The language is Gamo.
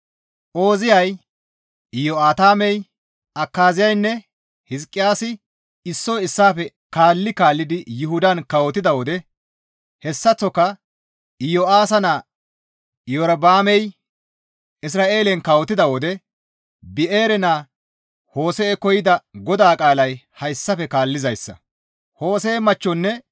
Ooziyay, Iyo7aatamey, Akaazeynne Hizqiyaasi issoy issaafe kaalli kaallidi Yuhudan kawotida wode hessaththoka Iyo7aasa naa Iyorba7aamey Isra7eelen kawotida wode Bi7eere naa Hose7ekko yida GODAA qaalay hayssafe kaallizayssa.